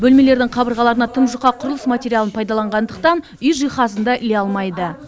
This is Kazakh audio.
бөлмелердің қабырғаларына тым жұқа құрылыс материалын пайдаланғандықтан үй жиһазын да іле алмайды